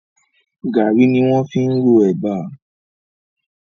Gàárì ni wọ́n fi ń ro ẹ̀bà